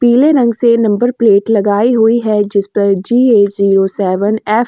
पीले रंग से नंबर प्लेट लगाई हुई है जिस पर जीए जीरो सेवन एफ --